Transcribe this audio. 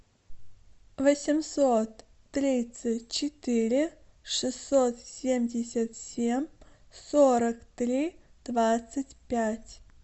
восемьсот тридцать четыре шестьсот семьдесят семь сорок три двадцать пять